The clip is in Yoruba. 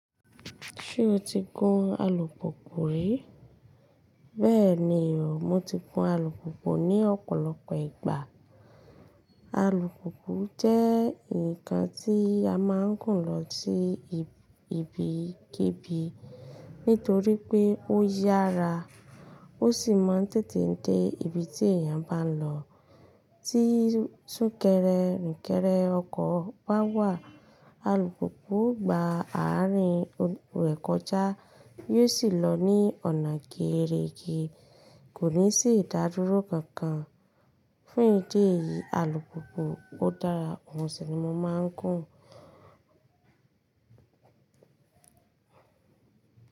Ṣé o ti gun alùpùpù rí? Bẹ́ẹ̀ni o, mo ti gun alùpùpù ní ọ̀pọ̀lọpọ̀ ìgbà. Alùpùpù jẹ́ ǹkan tí a máa ń gùn lọ sí ibi kìbi nítorí pé ó yára ó sì máa ń tètè dé ibi tí èèyàn bá ń lọ. Tí súnkẹrẹ fa kẹrẹ, ọkọ̀ bá wà, alùpùpù O gba àárín rẹ̀ kọjá yóò sì lọ ní ọ̀nà geere ge, kò ní sì ìdádúró kankan. Fún ìdí èyí, alùpùpù ó dára, òun sì ni mo máa ń gùn.